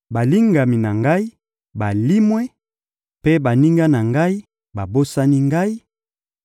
balingami na ngai balimwe, mpe baninga na ngai babosani ngai;